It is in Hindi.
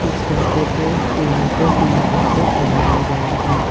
इस कैफे को लाइटों की मदद से सजाया गया है।